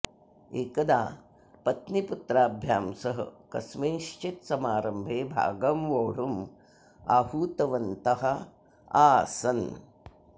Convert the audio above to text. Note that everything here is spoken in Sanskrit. एकदा पत्नीपुत्राभ्यां सह कस्मिँश्चित् समारम्भे भागं वोढुम् आहुतवन्तः आसन्